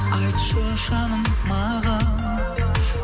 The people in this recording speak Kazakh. айтшы жаным маған